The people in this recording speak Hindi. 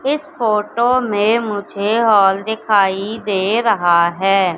इस फोटो में मुझे हॉल दिखाई दे रहा है।